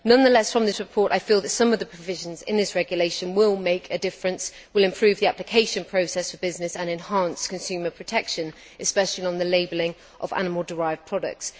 Nonetheless, from this report, I feel that some of the provisions in this regulation will make a difference, will improve the application process for business and enhance consumer protection, especially on the labelling of animal derived products.